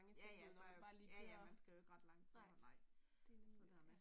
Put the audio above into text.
Ja ja der jo ja ja man skal jo ikke ret lang for at ja